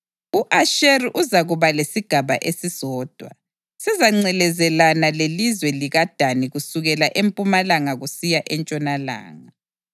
U-Asheri uzakuba lesigaba esisodwa; sizangcelezelana lelizwe likaDani kusukela empumalanga kusiya entshonalanga.